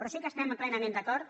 però sí que estem plenament d’acord